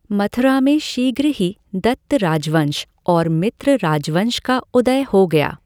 मथुरा में शीघ्र ही दत्त राजवंश और मित्र राजवंश का उदय हो गया।